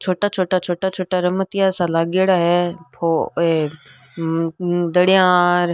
छोटा छोटा छोटा छोटा रमतिया सा लागेड़ा है वो ए मम धड़ियार।